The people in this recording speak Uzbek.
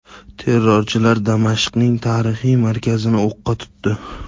Terrorchilar Damashqning tarixiy markazini o‘qqa tutdi.